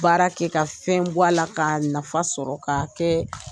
Baara kɛ ka fɛn bɔ a la ka nafa sɔrɔ k'a kɛ